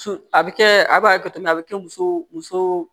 Su a bɛ kɛ a b'a kɛ cogo min na a bɛ kɛ muso muso